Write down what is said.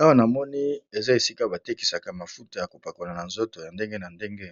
Awa na moni eza esika ba tekisaka mafuta ya kopakola na nzoto ya ndenge na ndenge